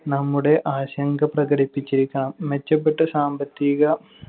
നമ്മുടെ ആശങ്ക പ്രകടിപ്പിച്ചിരിക്കണം. മെച്ചപ്പെട്ട സാമ്പത്തിക